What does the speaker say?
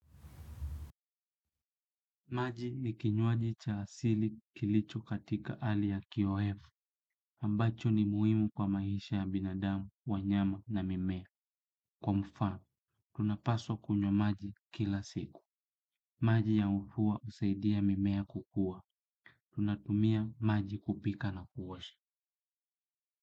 Maji ni kinywaji cha asili kilicho katika ali ya KIOF, ambacho ni muhimu kwa maisha ya binadamu, wanyama na mimea. Kwa mfano, tunapaswa kunywa maji kila siku. Maji ya mvua husaidia mimea kukua. Tunatumia maji kupika na kuosha.